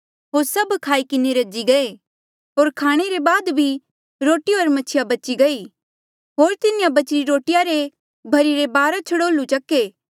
होर सब खाई किन्हें रजी गये होर खाणे ले बाद बी रोटी होर मछिया बची गई होर तिन्हें बचीरे रोटिया री भर्हिरी बारा छड़ोल्लू चक्के